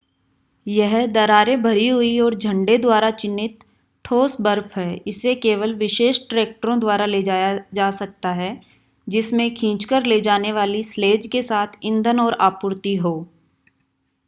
यह दरारें भरी हुई और झंडे द्वारा चिह्नित ठोस बर्फ है इसे केवल विशेष ट्रैक्टरों द्वारा ले जाया जा सकता है जिसमें खींचकर ले जाने वाली स्लेज के साथ ईंधन और आपूर्ति हो